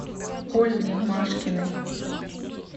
ольге машкиной